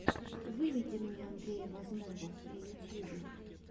выведи мне андрея возного на ютьюбе